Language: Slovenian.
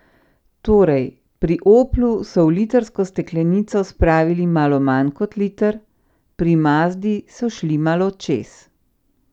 Torej, pri Oplu so v litrsko steklenico spravili malo manj kot liter, pri Mazdi so šli malo čez.